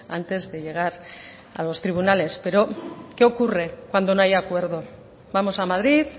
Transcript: antes de llegar a los tribunales pero qué ocurre cuando no hay acuerdo vamos a madrid